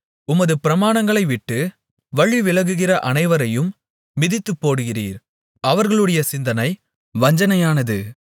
உமது பிரமாணங்களைவிட்டு வழிவிலகுகிற அனைவரையும் மிதித்துப் போடுகிறீர் அவர்களுடைய சிந்தனை வஞ்சனையானது